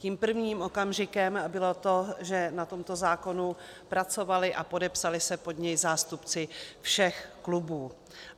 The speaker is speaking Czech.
Tím prvním okamžikem bylo to, že na tomto zákonu pracovali a podepsali se pod něj zástupci všech klubů.